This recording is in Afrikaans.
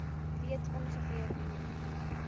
weet ongeveer hoe